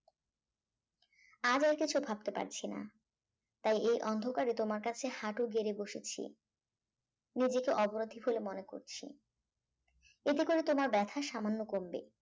আজ আর কিছু ভাবতে পারছি না তাই এই অন্ধকারে তোমার কাছে হাঁটু গেড়ে বসেছি নিজেকে অপরাধী বলে মনে করছি এতে করে তোমার ব্যথা সামান্য কমবে